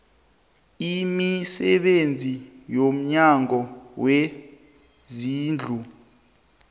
imisebenzi yomnyango wezezindlu